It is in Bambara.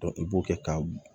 i b'o kɛ ka